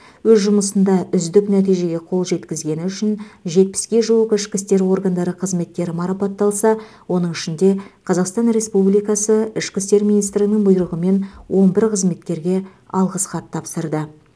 өз жұмысында үздік нәтижеге қол жеткізгені үшін жетпіске жуық ішкі істер органдары қызметкері марапатталса оның ішінде қазақстан республикасы ішкі істер министрінің бұйрығымен он бір қызметкерге алғыс хат тапсырды